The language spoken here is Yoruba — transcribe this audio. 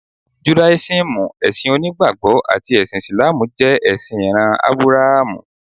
Judáísímù, ẹ̀sìn onígbàgbọ́ àti ẹ̀sìn Ìsìlámù jẹ ẹ̀sìn ìran Ábúráhámù.